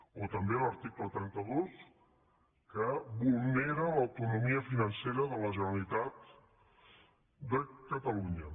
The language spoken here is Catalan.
o també l’article trenta dos que vulnera l’autonomia financera de la generalitat de catalunya